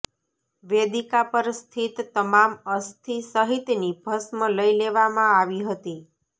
વેદિકા પર સ્થિત તમામ અસ્થિ સહિતની ભસ્મ લઈ લેવામાં આવી હતી